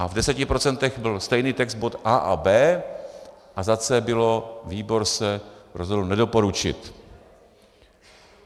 A v deseti procentech byl stejný text - bod A a B, a za C bylo, výbor se rozhodl nedoporučit.